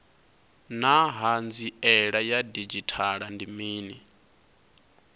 naa hanziela ya didzhithala ndi mini